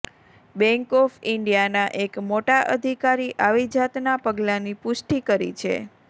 bank of ઇન્ડિયાના એક મોટા અધિકારી આવી જાતના પગલા ની પુષ્ઠી કરી છે